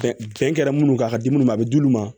Fɛn fɛn kɛra minnu kan ka di minnu ma a bɛ d'ulu ma